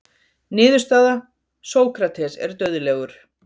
Niðurstaða: Sókrates er dauðlegur.